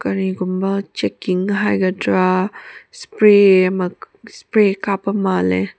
ꯀꯔꯤꯒꯨꯝꯕ ꯆꯦꯛꯀꯤꯡ ꯍꯥꯏꯒꯗꯔꯥ ꯁꯄꯔꯦ ꯁꯄꯔꯦ ꯀꯥꯞꯄ ꯃꯥꯜꯂꯦ꯫